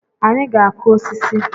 Anyị ga-akụ osisi